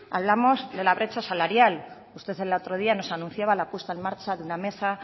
hablamos de la brecha salarial usted el otro día nos anunciaba la puesta en marcha